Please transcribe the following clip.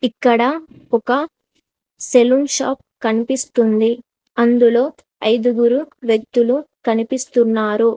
ఇక్కడ ఒక saloon shop కనిపిస్తుంది అందులో ఐదుగురు వ్యక్తులు కనిపిస్తున్నారు.